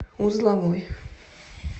узловой